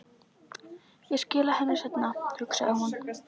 Ég skila henni seinna, hugsaði hún.